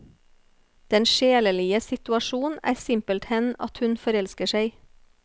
Den sjelelige situasjon er simpelthen at hun forelsker seg.